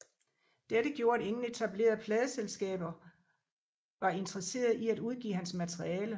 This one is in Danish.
Dette gjorde at ingen etablerede pladeselskaber var interesserede i at udgive hans materiale